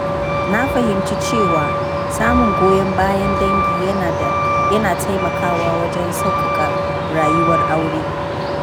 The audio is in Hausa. Na fahimci cewa samun goyon bayan dangi yana taimakawa wajen sauƙaƙa rayuwar aure.